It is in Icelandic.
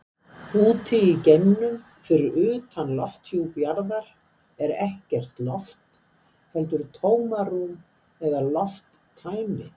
Úti í geimnum, fyrir utan lofthjúp jarðar, er ekkert loft heldur tómarúm eða lofttæmi.